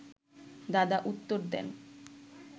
দাদা উত্তর দেন